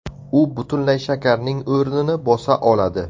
U butunlay shakarning o‘rnini bosa oladi.